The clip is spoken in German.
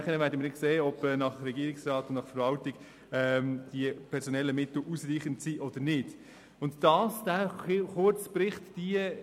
Anschliessend werden wir sehen, ob die personellen Mittel gemäss Regierungsrat und Verwaltung ausreichend sind.